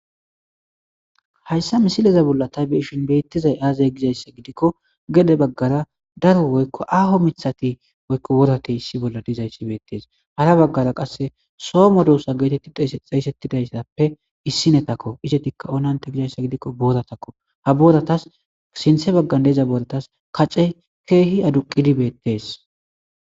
Hayssa misileza bolla taybeishin beettizay aazay gizayssa gidikko gede baggara daro woykko aho mithati woykko worate issi bolla dizayssi beettees hara baggara qasse soo modoossa geetetti xeesettidayssappe issinetakko isetikka onante gizayssa gidikko booratakko ha booratas sinthe baggan deeza booratas kacey keehi aduqidibeettees.